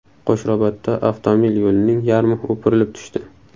Qo‘shrabotda avtomobil yo‘lining yarmi o‘pirilib tushdi .